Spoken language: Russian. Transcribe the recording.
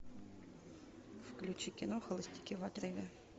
включи кино холостяки в отрыве